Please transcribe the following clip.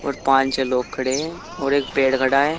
और पांच छ लोग खड़े है और एक पेड़ खड़ा है।